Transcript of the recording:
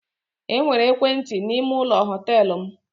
E nwere ekwentị n'ime ụlọ họtelụ m.